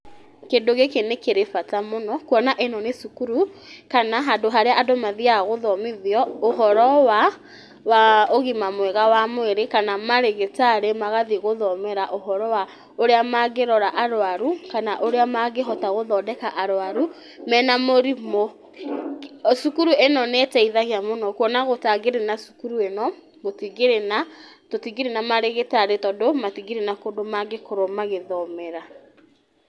Kĩndũ gĩkĩ nĩ kĩrĩ bata mũno, kuona nĩ cukuru kana handũ harĩa andũ mathiaga gũthomithio ũhoro wa ũgima mwega wa mwĩrĩ , kana marĩgĩtarĩ magathiĩ gũthomera ũhoro wa ũrĩa mangĩhota arwaru , kana ũrĩa mangĩhota gũthondeka arwaru mena mũrimũ, cukuru ĩno nĩ ĩteithagia mũno kuona gũtangĩrĩ na cukuru ĩno gũtingĩrĩ na , tũtingĩkĩrĩ na marĩgĩtarĩ tondũ mantingĩkorwo na kũndũ mangĩkorwo magĩthomera.